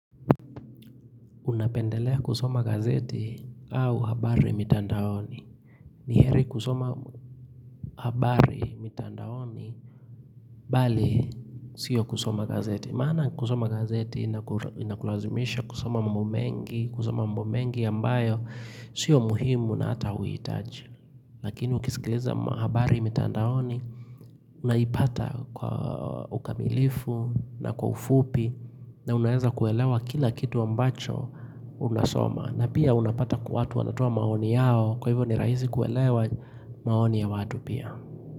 Unapendelea kusoma gazeti au habari mitandaoni. Ni heri kusoma habari mitandaoni, bali siyo kusoma gazeti. Maana kusoma gazeti inakulazimisha kusoma mambo mengi, kusoma mambo mengi ambayo siyo muhimu na ata huhitaji. Lakini ukisikiliza habari mitandaoni, unaipata kwa ukamilifu na kwa ufupi, na unaeza kuelewa kila kitu ambacho unasoma. Na pia unapata watu wanatoa maoni yao kwa hivyo ni rahisi kuelewa maoni ya watu pia.